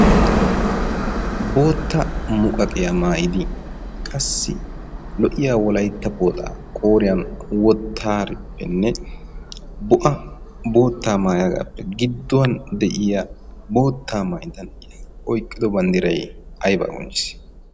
bootta muqaqiya maayidi qassi lo"iya wolaitta pooxaa qooriyan wottaarippenne bo'a boottaa maayagaappe gidduwan de'iya bootta maayda na'a; oiqqido banddirai aibaa qonccisi?